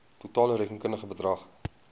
totale rekenkundige bedrag